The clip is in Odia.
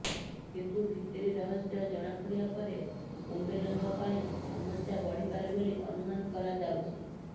କିନ୍ତୁ ଭିତିରି ରହସ୍ୟ ଜଣାପଡ଼ିବା ପରେ କୁମ୍ବଲେଙ୍କ ପାଇଁ ସମସ୍ୟା ବଢ଼ିପାରେ ବୋଲି ଅନୁମାନ କରାଯାଉଛି